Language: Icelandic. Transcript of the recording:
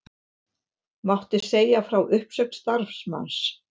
Mátti segja frá uppsögn starfsmanns